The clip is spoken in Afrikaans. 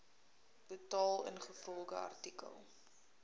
betaal ingevolge artikel